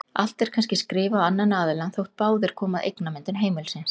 Allt er kannski skrifað á annan aðilann þótt báðir komi að eignamyndun heimilisins.